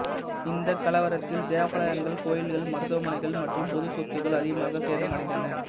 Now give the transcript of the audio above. இந்தக் கலவரத்தில் தேவாலயங்கள் கோயில்கள் மருத்துவமனைகள் மற்றும் பொது சொத்துக்கள் அதிகமாக சேதம் அடைந்தன